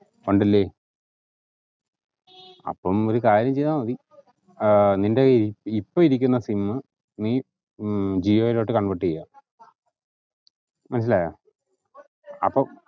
ഉണ്ടല്ലേ അപ്പം ഒരു കാര്യം ചെയ്താമതി ഏർ നിന്റെകയ്യിൽ ഇപ്പം ഇരിക്കിന്ന sim ഏർ നീ ഈ ജിയോയിലോട്ട് convert ചെയ്യാ മനസ്സിലായാ അപ്പം